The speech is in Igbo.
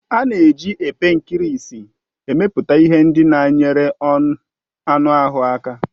A na-eji epe nkirisi emepụta ihe ndị na enyere ọnuahu aka.